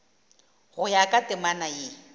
go ya ka temana ye